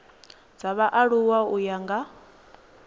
dza vhaaluwa u ya nga